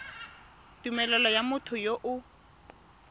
tumelelo ya motho yo o